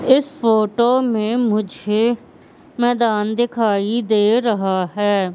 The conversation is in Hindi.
इस फोटो में मुझे मैदान दिखाई दे रहा है।